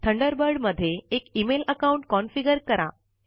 Thunderbird मध्ये एक email account configure करा